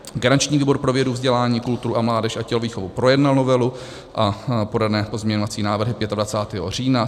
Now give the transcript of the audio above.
Garanční výbor pro vědu, vzdělání, kulturu a mládež a tělovýchovu projednal novelu a podané pozměňovací návrhy 25. října.